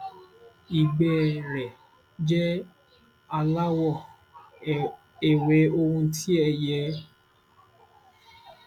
ìgbẹ ẹ rẹ jẹ aláwọ ewé ohun tí èyí jẹ ò sì yé mi